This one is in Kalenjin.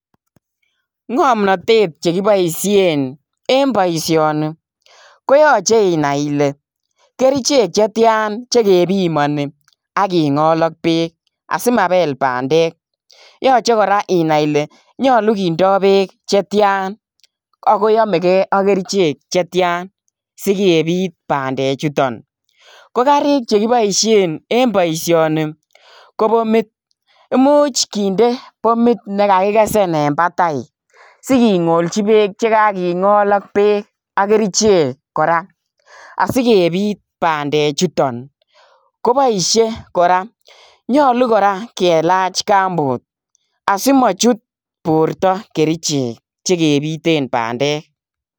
Ngomnotet chekiboishien en boishonii, koyoche inai ile kerichek chetian, chekepimoni ak kingool ak beek. Asimabeel bandek, yoche kora inai Ile nyolu kindoo berk Che tian, akoyomegee ak kerichek chetian sikebiit bandechutok. Ko kaarik chekiboishien en boishoni KO bomit .Imuch kindee bomit nekakikesen en batai, sikongolchi beek chekakingool ak beek ak kerichek kora. Asikebit bandechutok koboishie kora nyolu kora kelach kambut, asimochut bortoo kerichek chekebiten bandek.